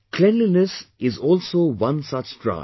Cleanliness is also one such drive